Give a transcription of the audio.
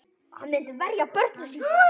Hann myndi verja sín börn.